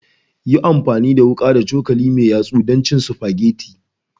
Yi amfani da wuka da cokali mai yatsa don cin spaghetti